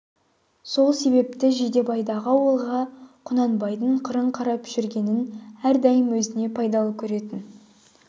сол себепті жидебайдағы ауылға құнанбайдың қырын қарап жүргенін әрдайым өзіне пайдалы көретін